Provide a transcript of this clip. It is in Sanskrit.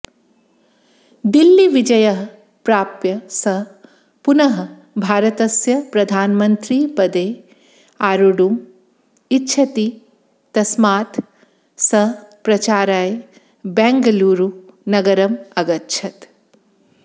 दिल्लीविजयः प्राप्य सः पुनः भारतस्य प्रधानमन्त्रीपदे आरोढुम् इच्छति तस्मात् सः प्रचाराय बेङ्गलुरुनगरम् अगच्छत्